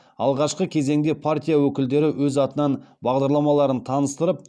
алғашқы кезеңде партия өкілдері өз атынан бағдарламаларын таныстырып